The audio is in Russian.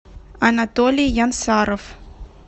анатолий янсаров